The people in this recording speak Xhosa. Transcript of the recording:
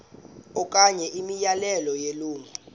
okanye imiyalelo yelungu